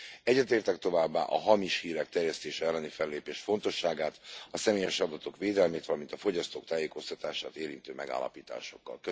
Egyetértek továbbá a hamis hírek terjesztése elleni fellépés fontosságát, a személyes adatok védelmét, valamint a fogyasztók tájékoztatását érintő megállapításokkal.